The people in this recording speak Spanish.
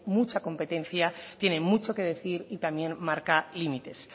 mucha competencia tiene mucho que decir y también marca límites